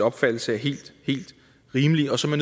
opfattelse er helt helt rimelige og som er